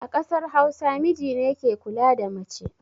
A ƙasar hausa, mijine ke kula da mace